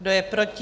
Kdo je proti?